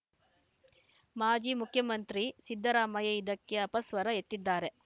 ಮಾಜಿ ಮುಖ್ಯಮಂತ್ರಿ ಸಿದ್ದರಾಮಯ್ಯ ಇದಕ್ಕೆ ಅಪಸ್ವರ ಎತ್ತಿದ್ದಾರೆ